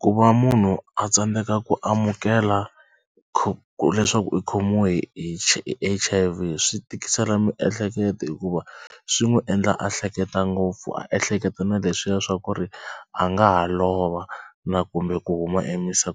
Ku va munhu a tsandzeka ku amukela leswaku u khomiwe hi hi H_I_V swi tikisela miehleketo hikuva swi n'wi endla a hleketa ngopfu a ehleketa na leswiya swa ku ri a nga ha lova na kumbe ku huma